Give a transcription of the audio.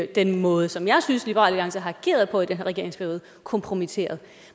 den måde som jeg synes liberal alliance har ageret på i den her regeringsperiode kompromitteret